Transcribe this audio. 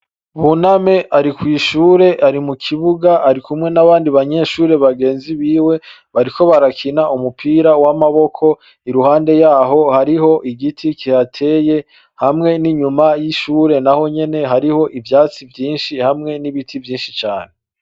Buname ari kwishure ari mukibuga arikumwe nabandi banyeshure bagenzi biwe bariko barakina umupira w'amaboko, iruhande yaho hariho igiti kihateye hamwe n'inyuma y'ishure naho nyene hariho ivyatsi vyinshi hamwe n'ibiti vyinshi cane.